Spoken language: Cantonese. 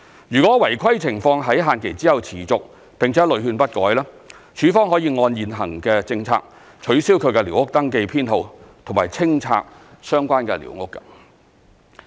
若違規情況在限期後持續並屢勸不改，署方可按現行政策取消其寮屋登記編號及清拆相關的寮屋。